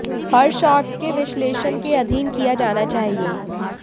हर shot के विश्लेषण के अधीन किया जाना चाहिए